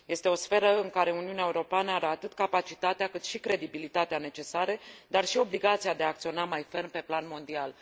Este o sferă în care Uniunea Europeană are atât capacitatea, cât și credibilitatea necesare, dar și obligația de a acționa mai ferm pe plan mondial